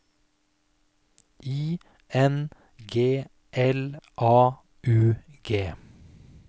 I N G L A U G